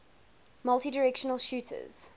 multidirectional shooters